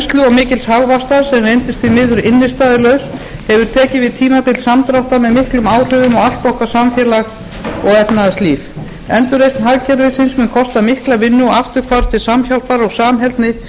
mikils hagvaxtar sem reyndist því miður innstæðulaus hefur tekið við tímabil samdráttar með miklum áhrifum á allt okkar samfélag og efnahagslíf endurreisn hagkerfisins mun kosta mikla vinnu og afturhvarf til samhjálpar og samheldni